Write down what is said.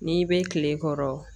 N'i bɛ kile kɔrɔ